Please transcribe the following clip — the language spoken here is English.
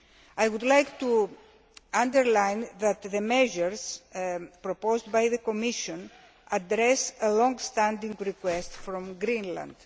I would like to underline that the measures proposed by the Commission address a long standing request from Greenland.